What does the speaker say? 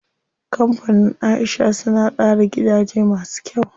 Kampanin Aisha suna tsara gidaje masu kyau.